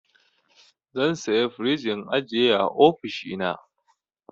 Zan saya frij in ajiye a ofishina.